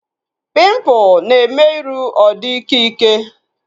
Pimpụl na-eme iru ọ dị ịkẹ́ ịkẹ́